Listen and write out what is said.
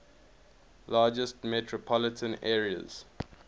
largest metropolitan areas